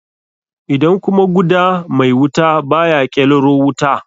Idan kuma guda mai wuta baya ƙelaro wuta?